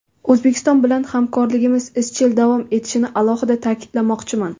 O‘zbekiston bilan hamkorligimiz izchil davom etishini alohida ta’kidlamoqchiman.